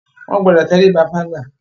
Wọ́n gbọdọ̀ tẹríba fágbà.